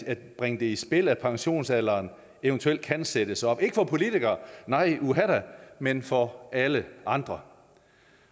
at bringe i spil at pensionsalderen eventuelt kan sættes op ikke for politikere nej uha da men for alle andre